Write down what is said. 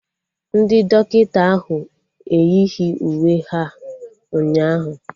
Ndị dọkịta ahụ eyighi uwe ha ụnyaahụ